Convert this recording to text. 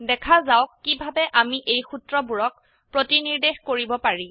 দেখা যাওক কিভাবে আমি এই সূত্ৰবোৰক প্ৰতিনিৰ্দেশ কৰিব পাৰি